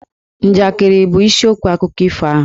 Njakịrị bụ isiokwu akụkọ ifo ahụ.